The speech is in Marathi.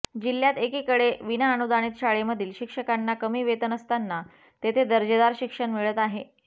जिल्ह्यात एकीकडे विनाअनुदानित शाळेमधील शिक्षकांना कमी वेतन असताना तेथे दर्जेदार शिक्षण मिळत आहे